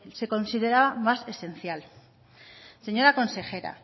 se consideraba más esencial señora consejera